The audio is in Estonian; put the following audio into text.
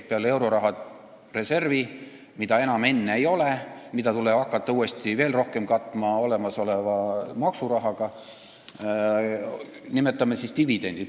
Peale euroraha reservi, mida enam ei ole ja mida tuleb hakata veel rohkem olemasoleva maksurahaga katma, nimetame dividende.